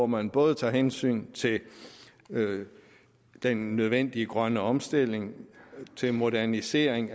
man både tager hensyn til den nødvendige grønne omstilling til modernisering